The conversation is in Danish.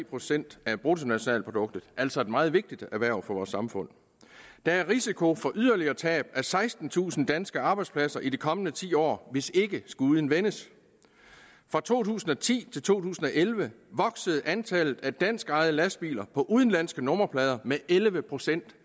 procent af bruttonationalproduktet det altså et meget vigtigt erhverv for vores samfund der er risiko for yderligere tab af sekstentusind danske arbejdspladser i de kommende ti år hvis ikke skuden vendes fra to tusind og ti til to tusind og elleve voksede antallet af danskejede lastbiler på udenlandske nummerplader med elleve procent